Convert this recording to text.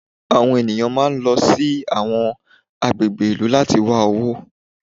Àwọn ènìyàn máa ń lọ sí àwọn agbègbè ìlú láti wá owó.